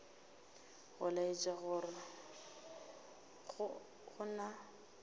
go laetša gore go na